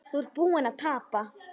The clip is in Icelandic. Þú ert búinn að tapa